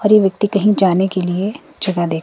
और ये व्यक्ति कहीं जाने के लिए जगह देख--